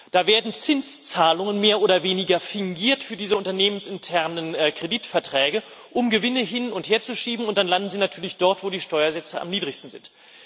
Da werden Zinszahlungen mehr oder weniger fingiert für diese unternehmensinternen Kreditverträge, um Gewinne hin und her zu schieben, und dann landen sie natürlich dort, wo die Steuersätze am niedrigsten sind.